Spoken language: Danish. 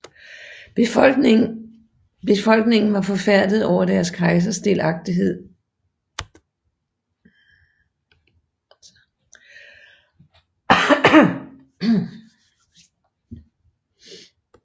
Befolkningen var forfærdet over deres kejsers delagtighed med spanierne og overdyngede ham med sten og kastepile